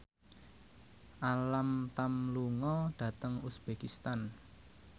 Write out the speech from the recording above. Alam Tam lunga dhateng uzbekistan